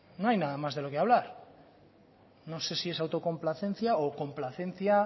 bueno no hay nada más de lo que hablar no sé si es autocomplacencia o complacencia